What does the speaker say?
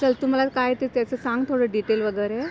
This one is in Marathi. चल तु मला काय ते त्याचं सांग, थोडं डिटेल वगैरे.